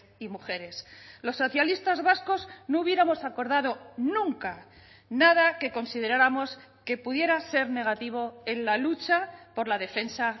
y mujeres los socialistas vascos no hubiéramos acordado nunca nada que consideráramos que pudiera ser negativo en la lucha por la defensa